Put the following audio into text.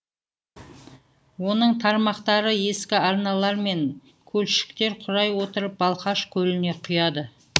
оның тармақтары ескі арналар мен көлшіктер құрай отырып балқаш көліне құяды